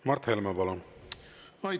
Mart Helme, palun!